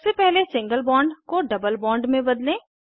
सबसे पहले single bond को डबल बॉन्ड में बदलें